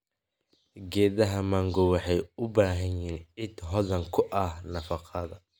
Geedaha mango waxay u baahan yihiin ciid hodan ku ah nafaqo.